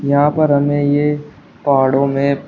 यहां पर हमें ये पहाड़ों में--